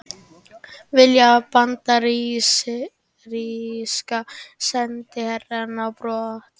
Vilja bandaríska sendiherrann á brott